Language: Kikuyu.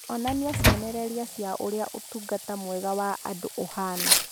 Onania cionereria cia ũrĩa ũtungata mwega wa andũ ũhaana.